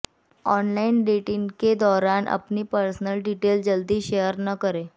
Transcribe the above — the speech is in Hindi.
ऑनलाइन डेटिंग के दौरान अपनी पर्सनल डिटेल जल्दी शेयर न करें